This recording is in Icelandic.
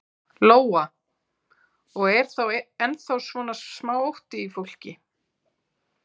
Lóa: Og er þá ennþá svona smá ótti í fólki?